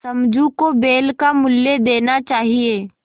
समझू को बैल का मूल्य देना चाहिए